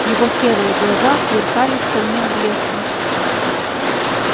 его серые глаза сверкали стальным блеском